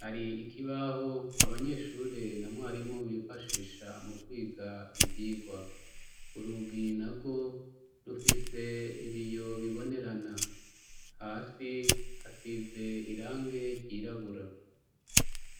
hari ikibaho abanyeshuri na mwarimu bifashisha mukwiga ivyigwa. urugi narwo rufise ibiyo bibonerana, hasi hasize irangi ryirabura.